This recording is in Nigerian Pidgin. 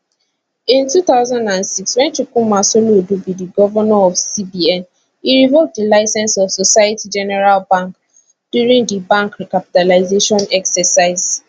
in 2006 wen chukwuma soludo be di govnor of cbn e revoke di licence of societe generale bank during di bank recapitalisation exercise